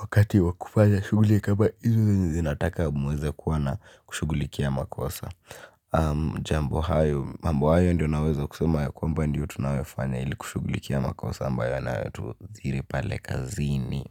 Wakati wa kufanya shughuli kama hizo zenye zinataka muweze kuwa na kushughulikia makosa. Jambo hayo, mambo hayo ndio naweza kusema ya kwamba ndiyo tunayofanya ili kushughulikia makosa ambayo yanatu thiri pale kazini.